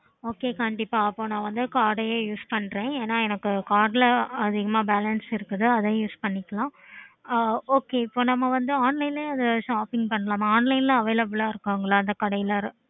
okay கண்டிப்பா அப்போ நான் வந்து card use பண்றேன் card அதிகமா balance இருக்குது